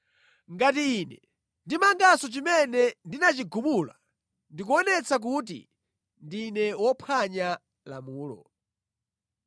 Ngati ine ndimanganso chimene ndinachigumula, ndikuonetsa kuti ndine wophwanya lamulo.